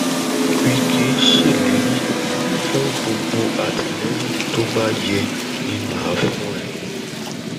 wíkẹ ṣèlérí fún gbogbo àtìlẹyìn tó bá yẹ ni mà á fún ẹ